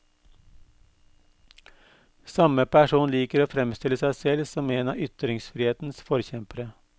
Samme person liker å fremstille seg selv som en av ytringsfrihetens forkjempere.